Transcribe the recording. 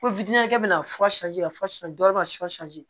Ko bɛna fɔ dɔ ma